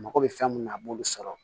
Mako bɛ fɛn mun na a b'olu sɔrɔ